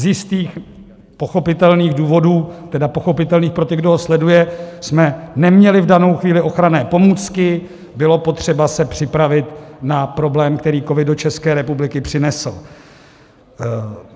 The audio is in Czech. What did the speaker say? Z jistých pochopitelných důvodů, tedy pochopitelných pro ty, kdo ho sledují, jsme neměli v danou chvíli ochranné pomůcky, bylo potřeba se připravit na problém, který covid do České republiky přinesl.